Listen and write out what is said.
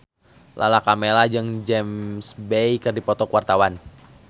Lala Karmela jeung James Bay keur dipoto ku wartawan